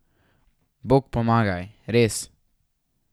Bog pomagaj, res.